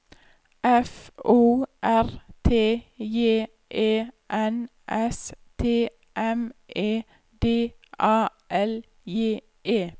F O R T J E N S T M E D A L J E